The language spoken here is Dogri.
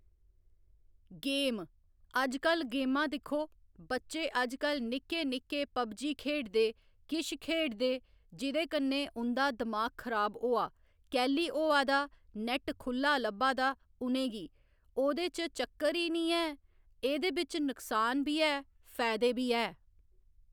गेम अजकल गेमां दिक्खो बच्चे अजकल निक्के निक्के पबजी खेढदे किश खेढदे जिदे कन्नै उं'दा दमाग खराब होआ कैह्‌ली होआ दा नैट खु'ल्ला लब्भा दा उं'नेंगी ओह्दे च चक्कर ई निं ऐ एह्दे बिच नुक्सान बी ऐ फायदे बी ऐ